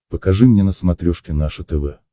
покажи мне на смотрешке наше тв